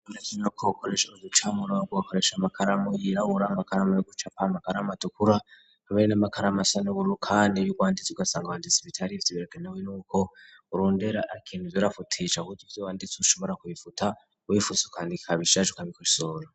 Murakimero kuwkoresha abuducamura wo gugakoresha amakaramu yirawura mgakarama yo guca pa magaramu atukuru amere n'amakaramu asan'ubuuru, kandi byurwanditse ugasanga uwanditsa ibitari ivyo ibiregane we ni uko urundera akintu vyorafutie ca buda ivyo wanditse ushobora kubifuta uwebifutso, kandi kaba isaje ukabikoshora.